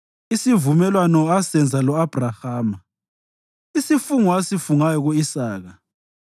isivumelwano asenza lo-Abhrahama, isifungo asifungayo ku-Isaka.